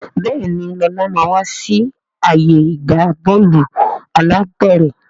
Béèni Lọla má wá sí ààyè ìgbà Bọ́ọ̀lù alápẹ̀rẹ̀.